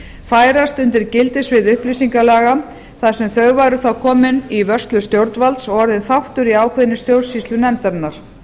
færast undir gildissvið upplýsingalaga þar sem þau væru þá komin í vörslur stjórnvalds og orðin þáttur í ákveðinni stjórnsýslu nefndarinnar